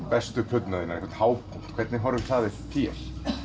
bestu plöturnar þínar hápunkt hvernig horfir það við þér